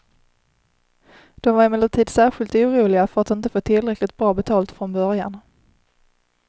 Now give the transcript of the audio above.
De var emellertid särskilt oroliga för att inte få tillräckligt bra betalt från början.